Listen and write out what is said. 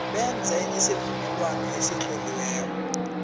benze isivumelwano esitloliweko